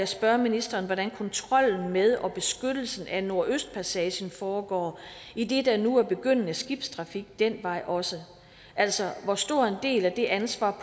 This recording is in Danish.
spørge ministeren hvordan kontrollen med og beskyttelsen af nordøstpassagen foregår idet der nu er begyndende skibstrafik den vej også altså hvor stor en del af det ansvar